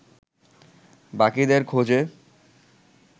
বাকিদের খোঁজে